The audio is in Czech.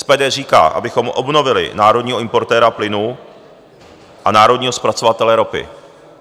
SPD říká, abychom obnovili národního importéra plynu a národního zpracovatele ropy.